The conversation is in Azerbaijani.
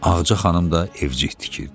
Ağca xanım da evcik tikirdi.